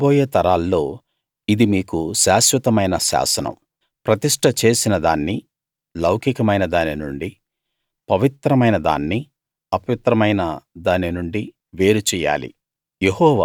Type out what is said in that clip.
మీ రాబోయే తరాల్లో ఇది మీకు శాశ్వతమైన శాసనం ప్రతిష్ట చేసిన దాన్ని లౌకికమైన దాని నుండీ పవిత్రమైన దాన్ని అపవిత్రమైన దాని నుండీ వేరు చెయ్యాలి